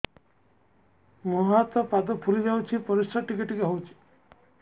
ମୁହଁ ହାତ ପାଦ ଫୁଲି ଯାଉଛି ପରିସ୍ରା ଟିକେ ଟିକେ ହଉଛି